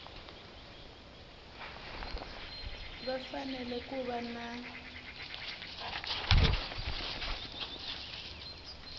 va fanele ku va na